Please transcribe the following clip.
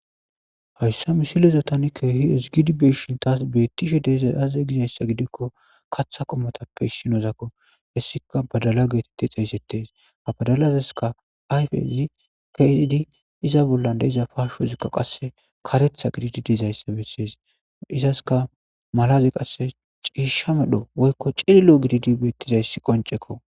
hayssa misileza tani keeh ezigishn tas betishe de'zay aze gizayssa gidikko katha qomotappe issinozakko hessika badala geeteti xeeysetes, ha badalazaska ayfezi keehidi iza bollan de'iza pashozikka qase karetha gididi dizayssa bessees, izaska malazi qasse ciishsha medho woykko cililo gididi betizayssi qoncekko.